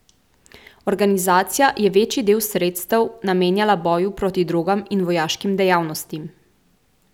Organizacija je večji del sredstev namenjala boju proti drogam in vojaškim dejavnostim.